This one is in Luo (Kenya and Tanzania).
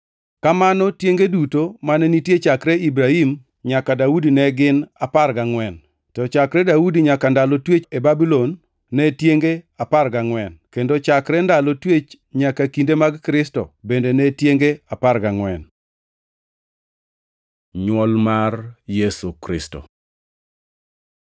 Kamano tienge duto mane nitie chakre Ibrahim nyaka Daudi ne gin apar gangʼwen; to chakre Daudi nyaka ndalo twech e Babulon ne tienge apar gangʼwen kendo chakre ndalo twech nyaka kinde mag Kristo bende ne tienge apar gangʼwen. Nywol mar Yesu Kristo